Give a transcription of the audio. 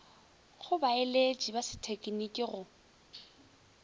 go baeletši ba sethekniki go